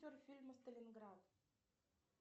фильма сталинград